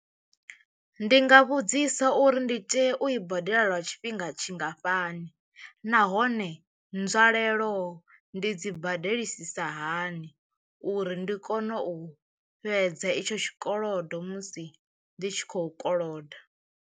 Ndi nga vhudzisa uri ndi tea u i badela lwa tshifhinga tshingafhani nahone nzwalelo ndi dzi badelisisa hani uri ndi kone u fhedza itsho tshikolodo musi ndi tshi khou koloda.